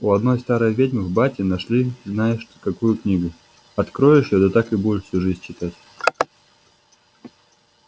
у одной старой ведьмы в бате нашли знаешь какую книгу откроешь её да так и будешь всю жизнь читать